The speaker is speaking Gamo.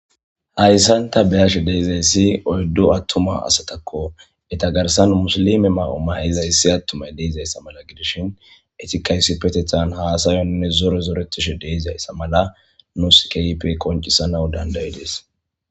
Hayssanta beyashe deezayssi oyddu attuma asatakko eta garsan musilime ma'o may'iza issi attumay deizayssa mala gidishin etikaysi petethan haasayonne zore zoretishe deizayssa mala nuskyipe qoncisanaw dandayi dees.